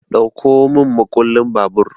Ɗauko mun makullin babur!